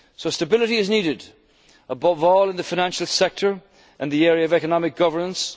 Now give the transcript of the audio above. than no agreement. Stability is needed, above all in the financial sector and the area of